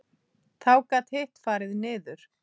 Þá gat hitt farið niður.